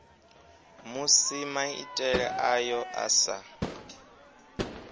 musi maitele ayo a sa